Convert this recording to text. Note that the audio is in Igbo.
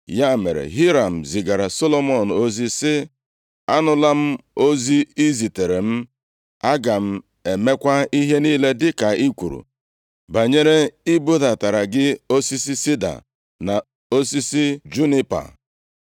Ya mere, Hiram zigaara Solomọn ozi sị, “Anụla m ozi i ziteere m. Aga m emekwa ihe niile dịka i kwuru banyere i budatara gị osisi sida na osisi junipa.